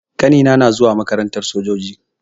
Ƙanina na zuwa makarantar sojoji.